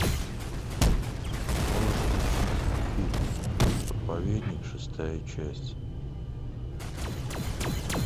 можешь включить фильм проповедник шестая часть